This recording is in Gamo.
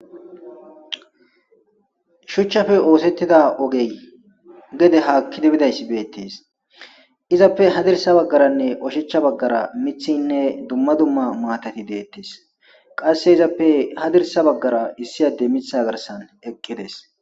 Shuchchafe oosettida ogey gede haakki dibidayss beettes izappe hadirsa baggaranne oshachcha baggara mithinne dumma dumma maatati deettes qasse izappe hadirsa baggara issi ade mitha garsan eqqides.